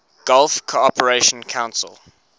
gulf cooperation council